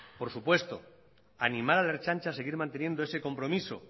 por supuesto animar a la ertzaintza a seguir manteniendo ese compromiso